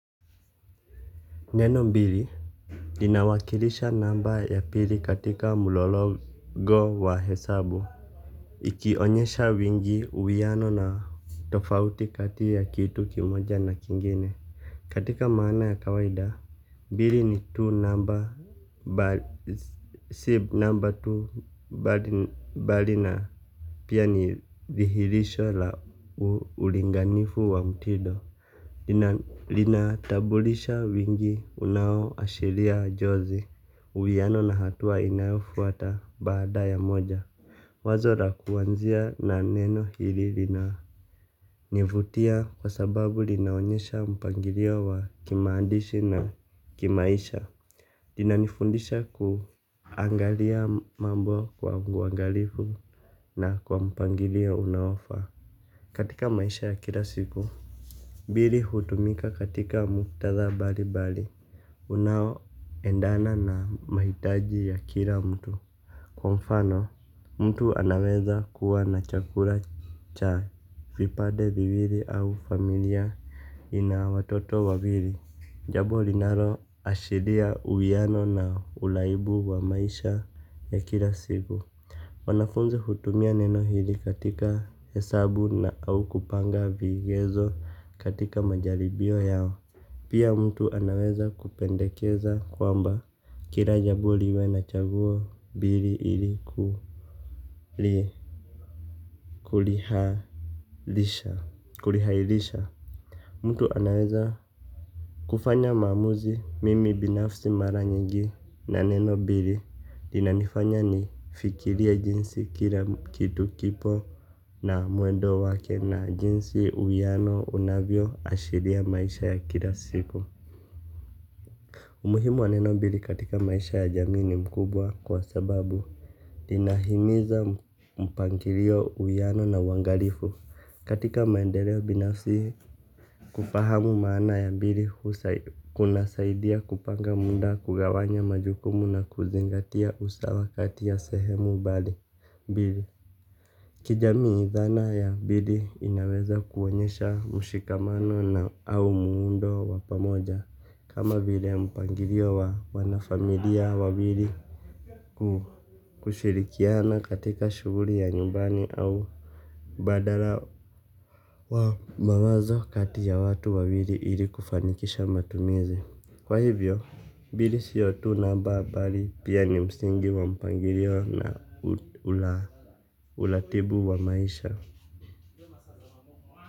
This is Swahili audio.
Neno mbili linawakilisha namba ya pili katika mlologo wa hesabu. Ikionyesha wingi uwiano na tofauti kati ya kitu kimoja na kingine katika maana ya kawaida mbili ni tu namba bali si namba tu bali na pia ni vihirisho la ulinganifu wa mtindo. Lina tambulisha wingi unao ashiria jozi. Uwiano na hatua inayofuata baada ya moja wazo la kuanzia na neno hili lina nivutia. Kwa sababu linaonyesha mpangilio wa kimaandishi na kimaisha inanifundisha kuangalia mambo kwa uangalifu na kwa mpangilio unaofaa. Katika maisha ya kila siku mbili hutumika katika muktatha bali bali. Unao endana na mahitaji ya kila mtu. Kwa mfano, mtu anaweza kuwa na chakula cha vipade viwili au familia ina watoto wawili. Jambo linalo ashiria uwiano na uraibu wa maisha ya kila siku. Wanafunzi hutumia neno hili katika hesabu na au kupanga vigezo katika majalibio yao. Pia mtu anaweza kupendekeza kwamba kila jambo liwe na chaguo mbili iliku li kulihailisha. Kulihairisha mtu anaweza kufanya maamuzi. Mimi binafsi mara nyingi na neno mbili inanifanya ni fikirie jinsi kila kitu kipo na mwendo wake na jinsi uwiano unavyo ashiria maisha ya kila siku. Umuhimu wa neno mbili katika maisha ya jamini mkubwa. Kwa sababu ina himiza mpangilio uwano na uangalifu. Katika maendeleo binafisi kufahamu maana ya mbili kuna saidia kupanga muda kugawanya majukumu na kuzingatia usawa kati ya sehemu mbali bili. Kijamii idhana ya pili inaweza kuonyesha mushikamano na au muundo wa pamoja kama vile mpangilio wa wanafamilia wawili kushirikiana katika shughuli ya nyumbani au badala wa mawazo kati ya watu wawili ili kufanikisha matumizi. Kwa hivyo, mbili sio tu namba bali pia ni msingi wa mpangilio na uratibu wa maisha.